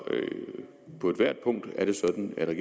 på ethvert punkt er det sådan at